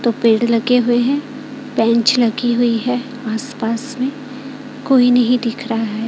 तो पेड़ लगे हुए हैं बेंच लगी हुई है आसपास में कोई नहीं दिख रहा है।